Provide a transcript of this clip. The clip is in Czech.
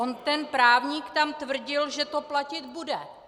On ten právník tak tvrdil, že to platit bude.